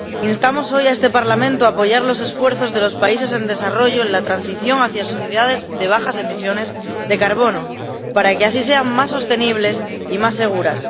Instamos hoy a este Parlamento a apoyar los esfuerzos de los países en desarrollo en la transición hacia sociedades de bajas emisiones de carbono, para que así sean más sostenibles y más seguras.